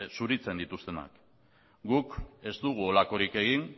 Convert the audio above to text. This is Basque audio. zuritzen dituztenak guk ez dugu horrelakorik egin